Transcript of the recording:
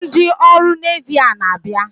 Ndị ọrụ Nevi a na-abịa?